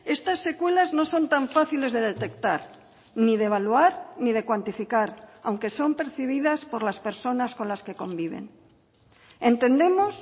estas secuelas no son tan fáciles de detectar ni de evaluar ni de cuantificar aunque son percibidas por las personas con las que conviven entendemos